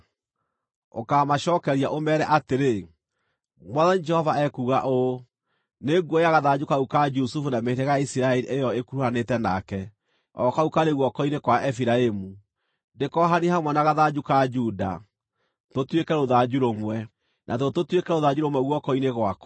ũkaamacookeria, ũmeere atĩrĩ, ‘Mwathani Jehova ekuuga ũũ: Nĩnguoya gathanju kau ka Jusufu na mĩhĩrĩga ya Isiraeli ĩyo ĩkuruhanĩte nake, o kau karĩ guoko-inĩ kwa Efiraimu, ndĩkoohanie hamwe na gathanju ka Juda, tũtuĩke rũthanju rũmwe, natuo tũtuĩke rũthanju rũmwe guoko-inĩ gwakwa.’